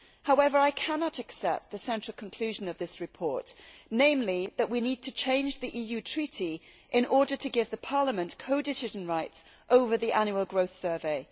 However, I cannot accept the central conclusion of this report, namely that we need to change the EU Treaty in order to give Parliament co decision rights over the annual growth survey.